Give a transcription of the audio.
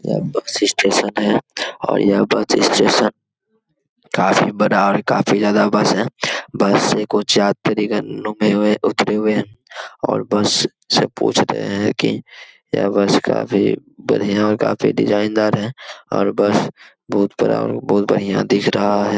यह bus station है और यह बस स्टेशन काफी बड़ा और काफी ज्यादा बस है। बस में कुछ यात्री गण रुके हुए उतरे हुए है और बस से पूछते है कि यह बस काफी बढ़िया और काफी डिजाईन दार है और बस बहुत बड़ा बहुत बढ़िया दिख रहा है।